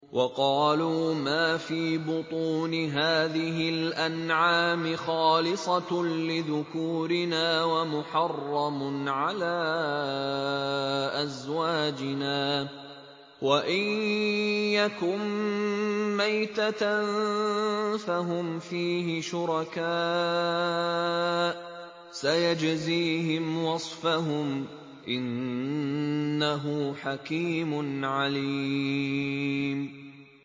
وَقَالُوا مَا فِي بُطُونِ هَٰذِهِ الْأَنْعَامِ خَالِصَةٌ لِّذُكُورِنَا وَمُحَرَّمٌ عَلَىٰ أَزْوَاجِنَا ۖ وَإِن يَكُن مَّيْتَةً فَهُمْ فِيهِ شُرَكَاءُ ۚ سَيَجْزِيهِمْ وَصْفَهُمْ ۚ إِنَّهُ حَكِيمٌ عَلِيمٌ